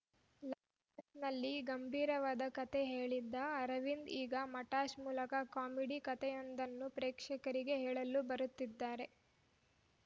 ಲಾ ನಲ್ಲಿ ಗಂಭೀರವಾದ ಕತೆ ಹೇಳಿದ್ದ ಅರವಿಂದ್‌ ಈಗ ಮಟಾಶ್‌ ಮೂಲಕ ಕಾಮಿಡಿ ಕತೆಯೊಂದನ್ನು ಪ್ರೇಕ್ಷಕರಿಗೆ ಹೇಳಲು ಬರುತ್ತಿದ್ದಾರೆ